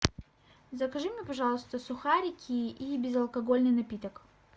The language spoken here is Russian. закажи мне пожалуйста сухарики и безалкогольный напиток